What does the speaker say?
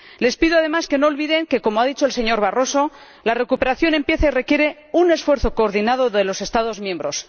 Les pido, además, que no olviden que —como ha dicho el señor Barroso— la recuperación empieza y requiere un esfuerzo coordinado de los Estados miembros.